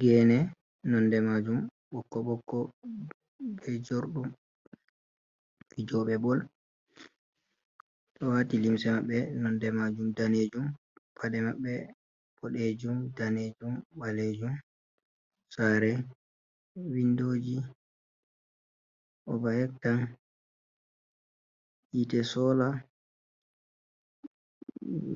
Gene nonde majum ɓokko ɓokko be jorɗum, fijoɓe bol o wati limse maɓɓe nonde majum danejum, paɗe maɓɓe boɗejum, danejum, ɓalejum, saare windoji overhead tank hite sola